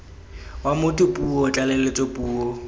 wa motho puo tlaleletso puo